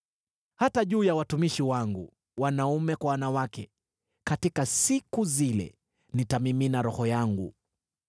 Hata juu ya watumishi wangu, wanaume kwa wanawake, katika siku zile nitamimina Roho wangu.